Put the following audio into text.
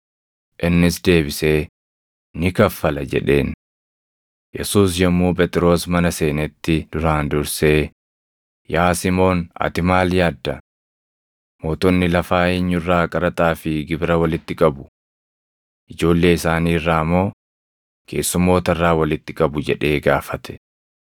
Innis deebisee, “Ni kaffala” jedheen. Yesuus yommuu Phexros mana seenetti duraan dursee, “Yaa Simoon ati maal yaadda? Mootonni lafaa eenyu irraa qaraxaa fi gibira walitti qabu? Ijoollee isaanii irraa moo keessummoota irraa walitti qabu?” jedhee gaafate.